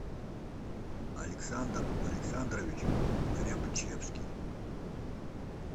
александр александрович рябчевский